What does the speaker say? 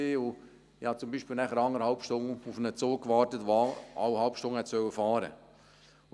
ich habe beispielsweise eineinhalb Stunden auf einen Zug gewartet, der jede halbe Stunde fahren sollte.